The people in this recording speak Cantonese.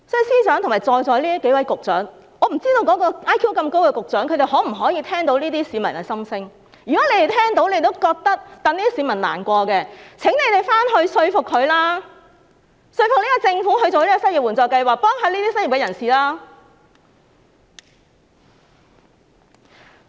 司長及在席數位局長，我不知道 IQ 這麼高的那位局長能否聽到這些市民的心聲，如果你們聽到並替這些市民難過，就請你們回去說服他，說服這個政府設立失業援助計劃，協助這些失業人士。